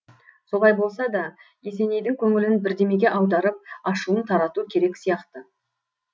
солай болса да есенейдің көңілін бірдемеге аударып ашуын тарату керек сияқты